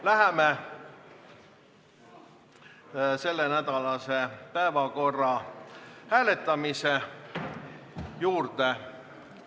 Läheme selle nädala päevakorra hääletamise juurde.